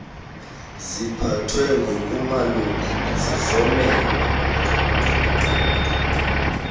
ziphathwe ngokumalunga nesihlomelo